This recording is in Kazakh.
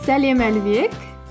сәлем әлібек